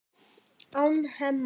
án Hemma.